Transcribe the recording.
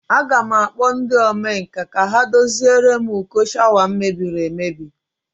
A ga m akpo ndi okwa nka ka ha doziere m uko shawa m mebiri emebi